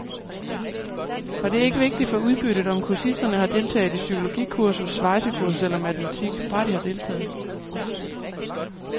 Og det er ikke vigtigt for udbyttet, om kursisterne har deltaget i psykologikursus, svejsekursus eller matematik, bare de har deltaget.